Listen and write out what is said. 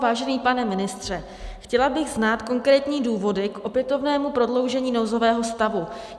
Vážený pane ministře, chtěla bych znát konkrétní důvody k opětovnému prodloužení nouzového stavu.